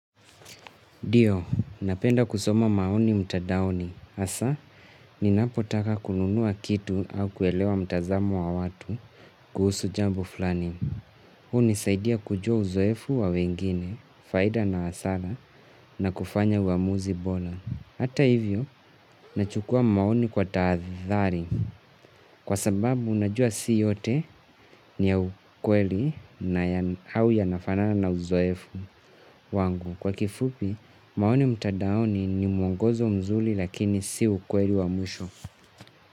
Ndiyo, napenda kusoma maoni mtandaoni. Hasa, ninapotaka kununua kitu au kuelewa mtazamo wa watu kuhusu jambo fulani. Hunisaidia kujua uzoefu wa wengine, faida na hasara na kufanya uamuzi bora. Hata hivyo, nachukua maoni kwa taathari kwa sababu unajua si yote ni ya ukweli na au yanafana na uzoefu wangu. Kwa kifupi, maoni mtandaoni ni mwongozo mzuri lakini si ukweli wa mwisho.